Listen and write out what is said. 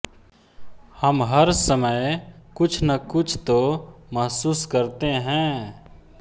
हम हर समय कुछ न कुछ तो मेहसूस करते हैं